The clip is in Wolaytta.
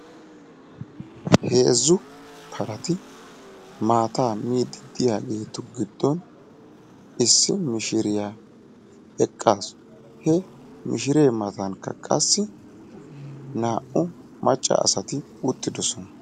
heezzu parati maataa miidi diyaageetu giddon issi mishiriya eqaasu, he mishiree matankka qassi naa'u maca asati uttidosona.